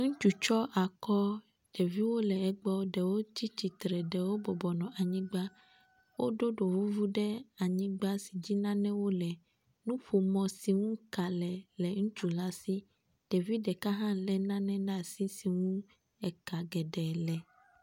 Ŋutsu tsyɔ akɔɔ, ɖeviwo le egbɔɔ ɖewo tsi tsitre ɖewo nɔ anyigba. Woɖo ɖovuvu ɖe anyigba si dzi nanewo le. Nuƒomɔ si ŋu ka le le ŋutsu la si. Ɖevi ɖeka hã lé nane ɖe asi si ŋu eka geɖe le.